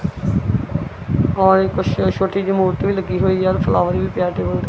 ਆ ਕੁਛ ਛੋਟੀ ਜਿਹੀ ਮੂਰਤੀ ਲੱਗੀ ਹੋਈ ਆ ਫਲਾਵਰ ਵੀ ਪਿਆ ਟੇਬਲ ਤੇ।